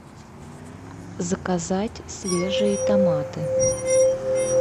заказать свежие томаты